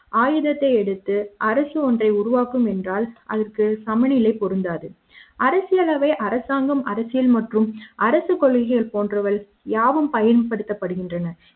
ஆயுத த்தை எடுத்து அரசு ஒன்றை உருவாக்கும் என்றால் அதற்கு சமநிலை பொருந்தாது. அரசியல் அவை அரசாங்கம் அரசியல் மற்றும் அரசுக் கொள்கைகள் போன்றவையாவும் பயன்படுத்தப்படுகின்றன